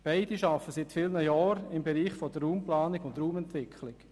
Beide arbeiten seit vielen Jahren im Bereich Raumplanung und Raumentwicklung.